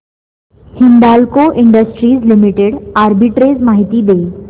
Hindalco industries limited arbitrage माहिती दे